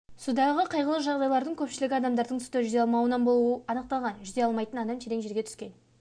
судағы қайғылы жағдайлардың көпшілігі адамдардың суда жүзе алмауынан болуы анықталған жүзе алмайтын адам терең жерге түскен